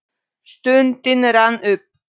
Stundin rann upp.